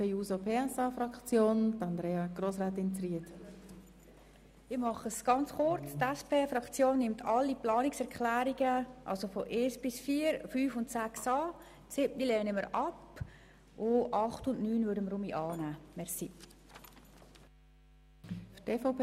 Die SP-JUSO-PSA-Fraktion nimmt die Planungserklärungen 1 bis 6 sowie 8 und 9 an, die Planungserklärung 7 lehnen wir ab.